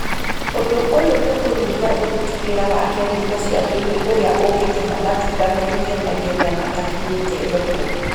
Ũndũ ũyũ nĩũkũnyihia ũruti wĩra wa kemiko cia thĩinĩ ũrĩa ungĩtũma matunda meruhe naihenya matakinyĩte thoko